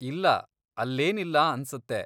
ಇಲ್ಲ, ಅಲ್ಲೇನಿಲ್ಲ ಅನ್ಸತ್ತೆ.